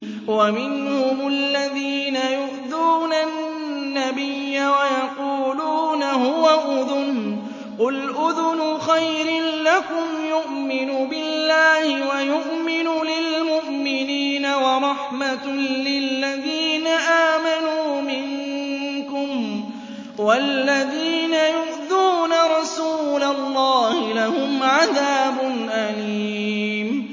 وَمِنْهُمُ الَّذِينَ يُؤْذُونَ النَّبِيَّ وَيَقُولُونَ هُوَ أُذُنٌ ۚ قُلْ أُذُنُ خَيْرٍ لَّكُمْ يُؤْمِنُ بِاللَّهِ وَيُؤْمِنُ لِلْمُؤْمِنِينَ وَرَحْمَةٌ لِّلَّذِينَ آمَنُوا مِنكُمْ ۚ وَالَّذِينَ يُؤْذُونَ رَسُولَ اللَّهِ لَهُمْ عَذَابٌ أَلِيمٌ